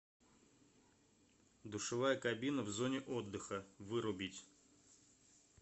душевая кабина в зоне отдыха вырубить